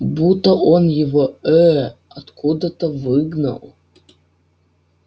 будто он его ээ откуда-то выгнал